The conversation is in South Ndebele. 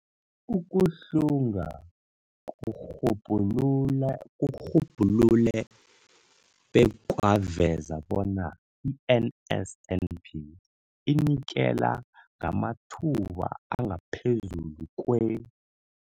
Ukuhlunga kurhubhulule bekwaveza bona i-NSNP inikela ngamathuba angaphezulu kwe-